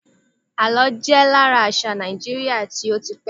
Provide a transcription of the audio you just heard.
àlọ jé lára àṣà Naijiria ti o ti pẹ